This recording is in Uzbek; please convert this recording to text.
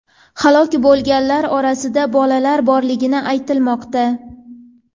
Halok bo‘lganlar orasida bolalar borligi aytilmoqda.